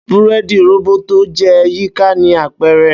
Búrẹ́ẹ́dì róbótó jẹ yika ni apẹrẹ